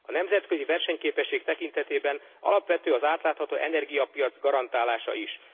A nemzetközi versenyképesség tekintetében alapvető az átlátható energiapiac garantálása is.